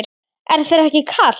Er þér ekki kalt?